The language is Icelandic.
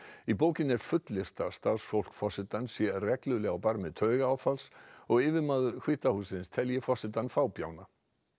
í bókinni er fullyrt að starfsfólk forsetans sé reglulega á barmi taugaáfalls og yfirmaður hvíta hússins telji forsetann fábjána